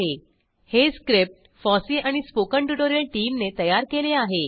httpspoken tutorialorgNMEICT Intro हे script FOSSEE आणि spoken tutorial टीमने तयार केले आहे